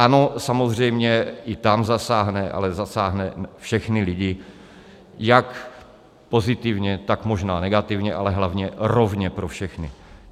Ano, samozřejmě, i tam zasáhne, ale zasáhne všechny lidi, jak pozitivně, tak možná negativně, ale hlavně rovně pro všechny.